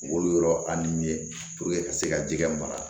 Wolo yɔrɔ a ni ka se ka jikɛ mara